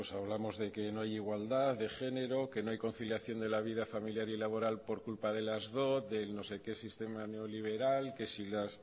hablamos de que no hay igualdad de género que no hay conciliación de la vida familiar y laboral por culpa de las dot del no sé qué sistema neoliberal que si las